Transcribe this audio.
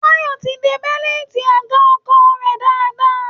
Táyọ̀ ti de bẹ́lìtì àga ọkọ̀ rẹ̀ dáadáa